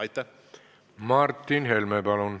Aitäh!